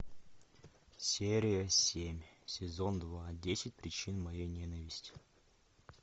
серия семь сезон два десять причин моей ненависти